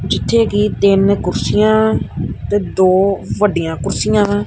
ਜਿੱਥੇ ਕਿ ਤਿੰਨ ਕੁਰਸੀਆਂ ਤੇ ਦੋ ਵੱਡੀਆਂ ਕੁਰਸੀਆਂ ਹਾਂ।